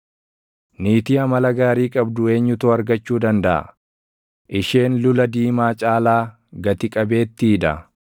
Niitii amala gaarii qabdu eenyutu argachuu dandaʼa? Isheen lula diimaa caalaa gati qabeettii dha.